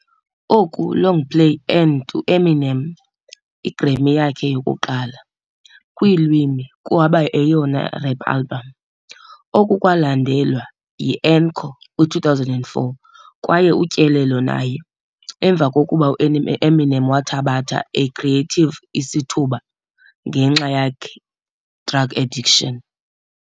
Oku longplay earned Eminem yakhe yokuqala Grammy kweelwimi kuba eyona i-rap album. Oku kwaba yalandelwa Encore kwi-2004 kwaye utyelelo naye, emva kokuba Eminem wathabatha a creative isithuba ngenxa yakhe drug addiction.